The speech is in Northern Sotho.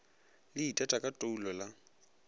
le itata ka toulo la